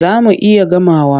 Za mu iya gamawa.